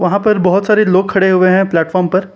वहां पर बहोत सारे लोग खड़े हुए हैं प्लैटफ़ॉर्म पर।